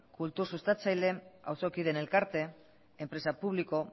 kultur sustatzaileen auzokideen elkarte enpresa publiko